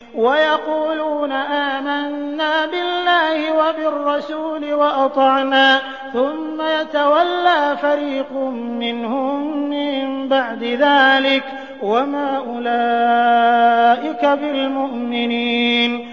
وَيَقُولُونَ آمَنَّا بِاللَّهِ وَبِالرَّسُولِ وَأَطَعْنَا ثُمَّ يَتَوَلَّىٰ فَرِيقٌ مِّنْهُم مِّن بَعْدِ ذَٰلِكَ ۚ وَمَا أُولَٰئِكَ بِالْمُؤْمِنِينَ